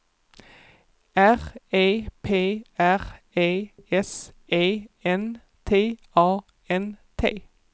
R E P R E S E N T A N T